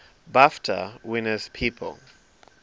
bafta winners people